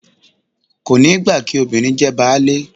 Kò ní gbà kí “ obìnrin jẹ baálé ”